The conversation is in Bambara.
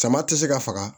Sama tɛ se ka faga